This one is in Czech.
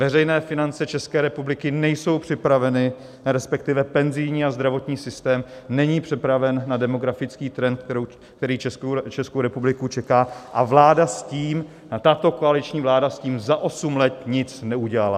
Veřejné finance České republiky nejsou připraveny, respektive penzijní a zdravotní systém není připraven na demografický trend, který Českou republiku čeká, a tato koaliční vláda s tím za osm let nic neudělala.